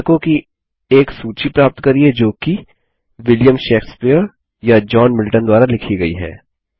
पुस्तकों की एक सूची प्राप्त करिये जो कि विलियम शेक्सपियर या जॉन मिल्टन द्वारा लिखी गयी हैं